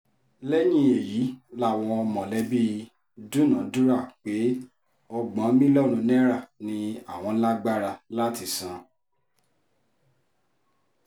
lẹ́yìn èyí làwọn mọ̀lẹ́bí dúnàádúrà pé ọgbọ̀n mílíọ̀nù náírà ni àwọn lágbára láti san